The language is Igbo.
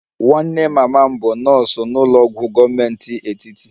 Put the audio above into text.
Nwanne mama m bụ nọọsụ n'ụlọ ọgwụ gọọmenti etiti